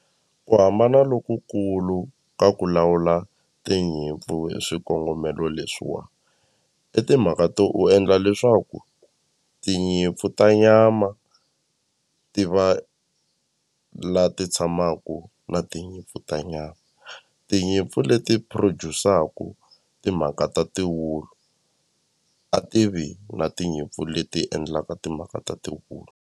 Ku hambana lokukulu ka ku lawula tinyimpfu hi swikongomelo leswiwa i timhaka to u endla leswaku tinyimpfu ta nyama ti va la ti tshamaku na tinyimpfu ta nyama tinyimpfu leti produce-aku timhaka ta tiwulu a tivi na tinyimpfu leti endlaka timhaka ta tiwulu.